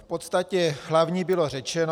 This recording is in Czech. V podstatě hlavní bylo řečeno.